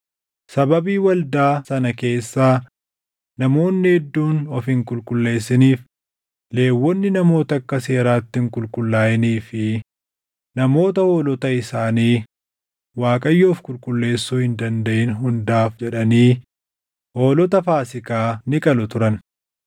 Sababii waldaa sana keessaa namoonni hedduun of hin qulqulleessiniif Lewwonni namoota akka seeraatti hin qulqullaaʼinii fi namoota hoolota isaanii Waaqayyoof qulqulleessuu hin dandaʼin hundaaf jedhanii hoolota Faasiikaa ni qalu turan.